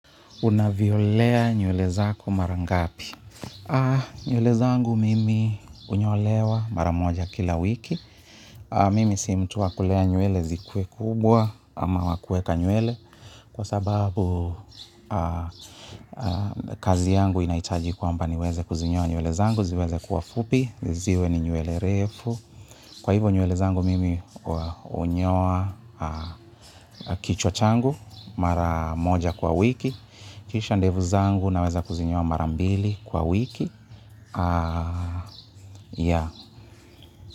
Una vyolea nywele zako mara ngapi? Nywele zangu mimi unyolewa mara moja kila wiki. Mimi si mtu wa kulea nywele zikuwe kubwa ama wa kueka nywele kwa sababu kazi yangu inaitaji kwamba niweze kuzinyoa nywele zangu, ziweze kuwa fupi, ziwe ni nywele refu. Kwa hivo nywele zangu mimi unyoa kichwa changu mara moja kwa wiki. Kisha ndevu zangu naweza kuzinyoa mara mbili kwa wiki. Ya.